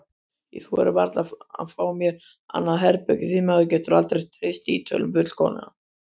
Ég þori varla að fá mér annað herbergi því maður getur aldrei treyst Ítölunum fullkomlega.